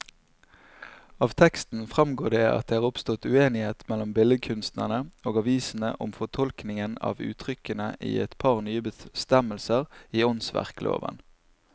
Av teksten fremgår det at det er oppstått uenighet mellom billedkunstnerne og avisene om fortolkningen av uttrykkene i et par nye bestemmelser i åndsverkloven.